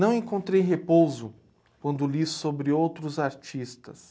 Não encontrei repouso quando li sobre outros artistas.